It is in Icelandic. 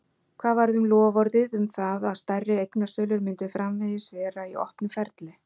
Hvað varð um loforðið um það að stærri eignasölur myndu framvegis vera í opnu ferli?